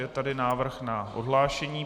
Je tady návrh na odhlášení.